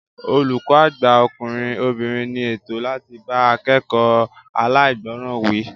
Olùkọ́ àgbà ọkùnrin/obìnrin ní ẹ̀tọ́ láti bá akekoo alaigboran wí